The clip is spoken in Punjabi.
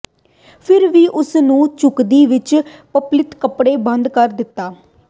ਫਿਰ ਵੀ ਉਸ ਨੂੰ ਝੁਕਦੀ ਵਿਚ ਪ੍ਰਚਲਿਤ ਕੱਪੜੇ ਬੰਦ ਕਰ ਦਿੱਤਾ